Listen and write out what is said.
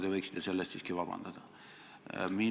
Te võiksite selle eest siiski vabandust paluda.